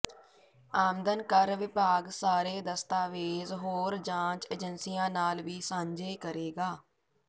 ਆਮਦਨ ਕਰ ਵਿਭਾਗ ਸਾਰੇ ਦਸਤਾਵੇਜ਼ ਹੋਰ ਜਾਂਚ ਏਜੰਸੀਆਂ ਨਾਲ ਵੀ ਸਾਂਝੇ ਕਰੇਗਾ